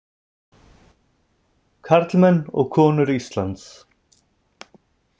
Karlmenn og konur Íslands!